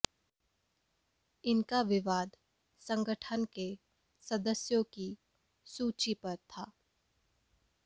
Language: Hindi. इनका विवाद संगठन के सदस्यों की सूची पर था